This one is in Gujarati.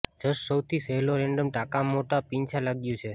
જસ્ટ સૌથી સહેલો રેન્ડમ ટાંકાં મોટા પીંછા લાગ્યું છે